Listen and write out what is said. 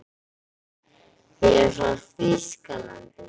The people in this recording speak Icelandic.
Ég er frá Þýskalandi.